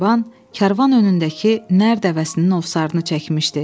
Sarban karvan önündəki Nər dəvəsinin ovsarını çəkmişdi.